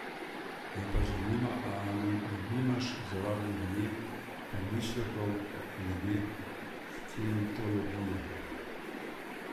Me pa zanima, ali nimaš zaradi nje pomislekov glede scientologije?